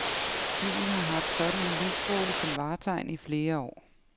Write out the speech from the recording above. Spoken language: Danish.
Byen har haft sådan en lysstråle som vartegn i flere år.